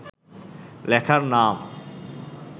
লেখার নাম